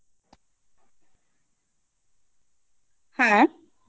হ্যাঁ